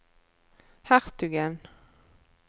hertugen